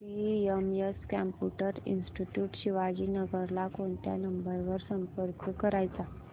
CMS computer institute Shivajinagar ला कोणत्या number वर संपर्क करायचा